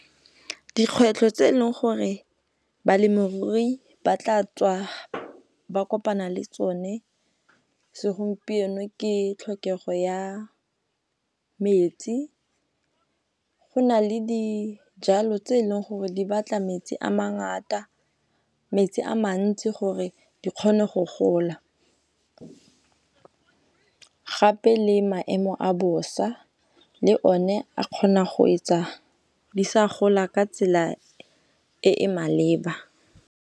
Dikgwetlho tse eleng gore balemirui ba tla tswa ba kopana le tsone segompieno, ke tlhokego ya metsi. Go na le dijalo tse leng gore di batla metsi a mantsi gore di kgone go gola gape le maemo a bosa le one a kgona go etsa di sa gola ka tsela e e maleba.